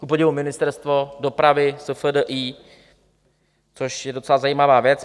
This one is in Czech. Kupodivu Ministerstvo dopravy, SFDI, což je docela zajímavá věc.